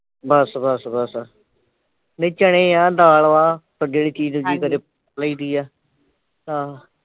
ਬਸ ਬਸ ਬਸ ਨਹੀ ਚਨੇ ਆ ਦਾਲ ਵਾ ਕਦੇ ਲਈਦੀਆ। ਆਹ।